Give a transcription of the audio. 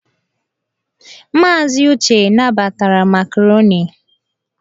Maazị Uche nabatara makaroni.